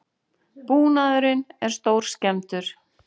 Búnaðurinn er stórskemmdur